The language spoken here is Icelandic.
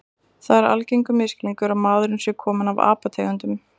Það er algengur misskilningur að maðurinn sé kominn af apategundum.